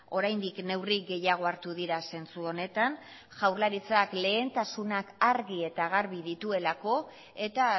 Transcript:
oraindik neurri gehiago hartu dira zentzu honetan jaurlaritzak lehentasunak argi eta garbi dituelako eta